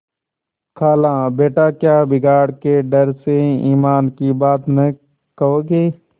खालाबेटा क्या बिगाड़ के डर से ईमान की बात न कहोगे